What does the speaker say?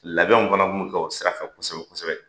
Labɛnw fana kun bɛ kɛ o sira kan kosɛbɛ kosɛbɛ.